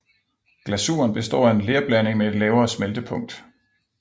Glasuren består af en lerblanding med et lavere smeltepunkt